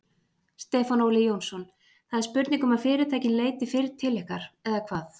Stefán Óli Jónsson: Það er spurning um að fyrirtækin leiti fyrr til ykkar eða hvað?